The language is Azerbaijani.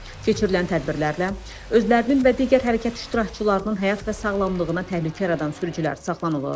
Keçirilən tədbirlərlə özlərinin və digər hərəkət iştirakçılarının həyat və sağlamlığına təhlükə yaradan sürücülər saxlanılır.